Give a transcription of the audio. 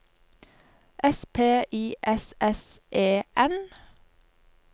S P I S S E N